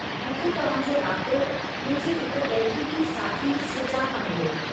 मूंखे तव्हांजो राबितो मुंहिंजी हिक तहक़ीक़ी साथी सृजा खां मिलियो।